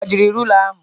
Ọ gbajiri rula ahụ?